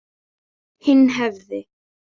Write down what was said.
Hinn hefði